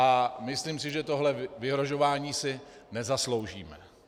A myslím si, že tohle vyhrožování si nezasloužíme.